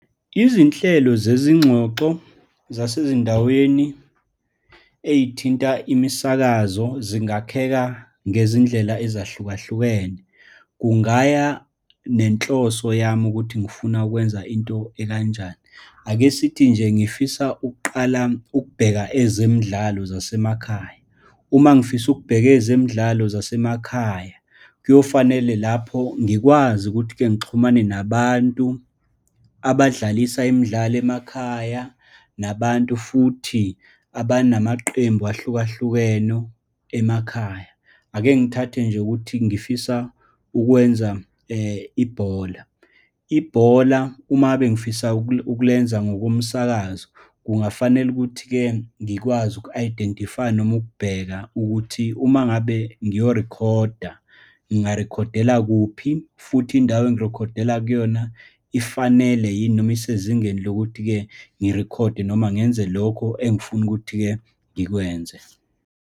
Izinhlelo zezingxoxo zasezindaweni ey'thinta imisakazo zingakheka ngezindlela ezahlukahlukene. Kungaya nenhloso yami ukuthi ngifuna ukwenza into ekanjani. Ake sithi nje ngifisa ukuqala, ukubheka ezemidlalo zasemakhaya. Uma ngifisa ukubheka ezemidlalo zasemakhaya, kuyofanele lapho ngikwazi ukuthi-ke ngixhumane nabantu abadlalisa imidlalo emakhaya, nabantu futhi abanamaqembu ahlukahlukeno emakhaya. Ake ngithathe nje ukuthi ngifisa ukwenza ibhola. Ibhola uma ngabe ngifisa ukulenza ngokomsakazo, kungafanele ukuthi-ke, ngikwazi uku-identify-a, noma ukubheka ukuthi uma ngabe ngiyobarikhoda, ngingarikhodela kuphi, futhi indawo engirikhodela kuyona, ifanele yini, noma isezingeni lokuthi-ke ngirikhode, noma ngenze lokho engifuna ukuthi-ke ngikwenze.